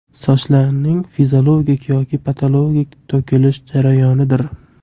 Sochlarning fiziologik yoki patologik to‘kilish jarayonidir.